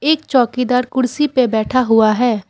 एक चौकीदार कुर्सी पे बैठा हुआ है।